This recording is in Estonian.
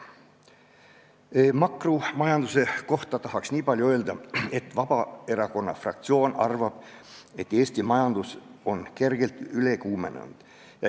Makromajanduse kohta tahan öelda nii palju, et Vabaerakonna fraktsioon arvab, et Eesti majandus on kergelt üle kuumenenud.